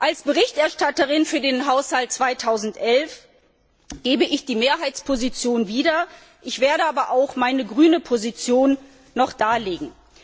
Als Berichterstatterin für den Haushalt 2011 gebe ich die Mehrheitsposition wieder, ich werde aber auch meine grüne Position noch darlegen.